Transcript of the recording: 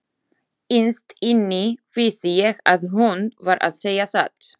Innst inni vissi ég að hún var að segja satt.